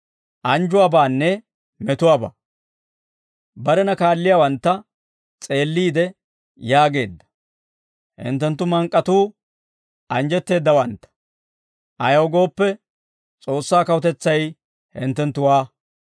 Barena kaalliyaawantta s'eelliide yaageedda: «Hinttenttu mank'k'atuu anjjetteeddawantta; Ayaw gooppe, S'oossaa kawutetsay hinttenttuwaa.